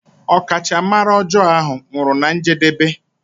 Ọkachamara ọjọọ ahụ nwụrụ na njedebe.